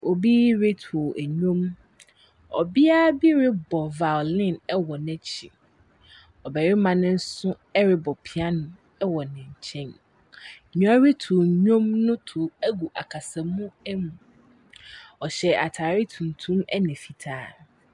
Obi retow nnwom. Ɔbea bi rebɔ violin wɔ n'ekyir. Ɔbarima no nso rebɔ piano wɔ ne nkyɛn. Nea ɔretow nnwom no tow gu akasamu mu. Ɔhyɛ atare tuntum ɛnna fitaa.